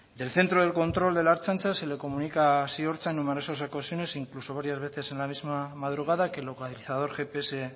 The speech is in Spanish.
del centro de control de la ertzaintza se le comunica a ziortza en numerosas ocasiones incluso varias veces en la misma madrugada que el localizador gps